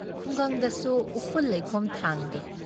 ꯈꯨꯡꯒꯪꯗꯁꯨꯨ ꯎꯐꯨꯜ ꯂꯩꯈꯣꯝ ꯊꯥꯡꯗꯦ ꯫